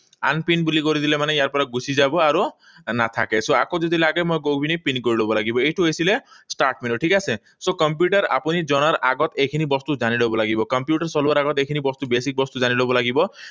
Unpin বুলি কৰি দিলে মানে ইয়াৰ পৰা গুছি যাব আৰু নাথাকে। So, আকৌ যদি লাগে মই গৈ পিনি পিন কৰি লব লাগিব। এইটো হৈছিলে start menu, ঠিক আছে? So, কম্পিউটাৰ আপুনি জনাৰ আগত এইখিনি বস্তু জানি লব লাগিব। কম্পিউটাৰ চলোৱাৰ আগত এইখিনি বস্তু basic বস্তু জানি লব লাগিব।